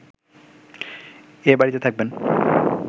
এ বাড়িতে থাকবেন